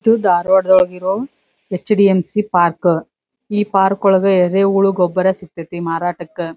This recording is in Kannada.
ತು ದಾರ್ವಾಡ್ದೊಳಗಿರೋಂ ಹೆಚ್.ಡಿ.ಎಂ.ಸಿ ಪಾರ್ಕ ಈ ಪಾರ್ಕ್ ಒಳಗ್ ಎರೆಹುಳು ಗೊಬ್ಬರ ಸಿಕ್ತತಿ ಮಾರಾಟಕ್ಕ.